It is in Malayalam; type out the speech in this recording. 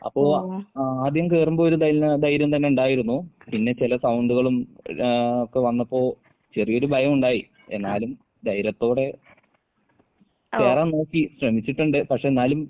അപ്പോ ആഹ് ആദ്യം കേറുമ്പോ ഒരു ധൈര്യം തന്നെ ഉണ്ടായിരുന്നു. പിന്നെ ചെല സൗണ്ടുകളും എല്ലാ ഒക്കെ വന്നപ്പോൾ ചെറിയൊരു ഭയമുണ്ടായി. എന്നാലും ധൈര്യത്തോടെ കേറാൻ നോക്കി ശ്രമിച്ചിട്ടുണ്ട്. പക്ഷെ എന്നാലും